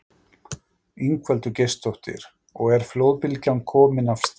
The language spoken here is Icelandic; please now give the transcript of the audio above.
Ingveldur Geirsdóttir: Og er flóðbylgjan komin af stað?